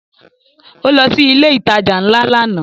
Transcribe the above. Ó lọ sí ilé ìtajà ńlá lánàá